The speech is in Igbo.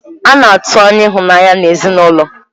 A na-atụ anya ịhụnanya n'ezinụlọ.